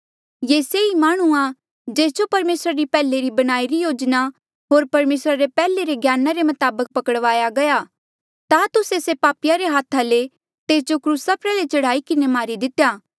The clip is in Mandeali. ये से ई माह्णुं जेस जो परमेसरा री पैहले री बणाईरी योजना होर परमेसरा रे पैहले रे ज्ञाना रे मताबक पकड़वाया गया ता तुस्से से पापिया रे हाथा ले तेस जो क्रूसा प्रयाल्हे चढ़ाई किन्हें मारी दितेया